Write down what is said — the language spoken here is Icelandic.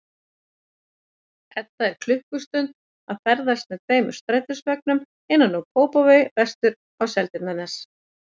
Edda er klukkustund að ferðast með tveim strætisvögnum innan úr Kópavogi vestur á Seltjarnarnes.